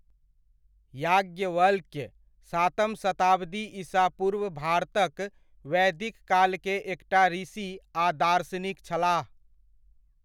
याज्ञवल्क्य, सातम शताब्दी ईसा पूर्व भारतक वैदिक काल के एकटा ऋषि आ दार्शनिक छलाह।